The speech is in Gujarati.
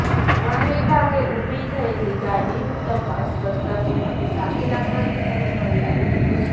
વન વિભાગે ઊભેલી ગાડીમાં તપાસ કરતા તેમાંથી સાગી લાકડની સાઈઝ મળી આવી હતી